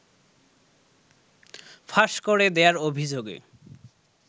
ফাঁস করে দেয়ার অভিযোগে